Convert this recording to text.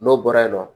N'o bɔra yen nɔ